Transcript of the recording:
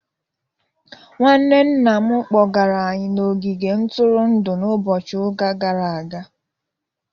Nwanne Nna'm kpọgara anyị n'ogige ntụrụndụ n'ụbọchị ụka gara aga.